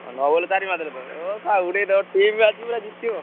ଚାରି ମାରିଦେଲ ତମେ ଉଡେଇଡବ ତେଅପ ଜିତେଇଡବ ଆଉ।